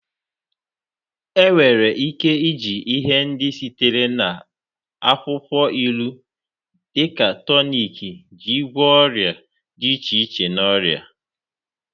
Enwere ike iji ihe ndị sitere na akwukwo ilu dị ka tọniki iji gwọọ ọrịa dị iche iche na ọrịa.